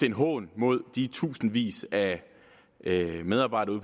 en hån mod de tusindvis af medarbejdere